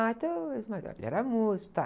Ah, e teu ex-marido? Ah, ele era músico, tá.